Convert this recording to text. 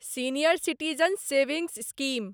senior citizen savings scheme